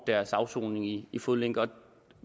deres afsoning i i fodlænke